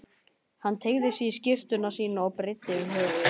Hann teygði sig í skyrtuna sína og breiddi yfir höfuð.